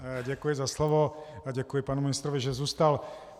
Děkuji za slovo a děkuji panu ministrovi, že zůstal.